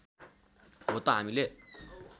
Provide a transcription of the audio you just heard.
हो त हामीले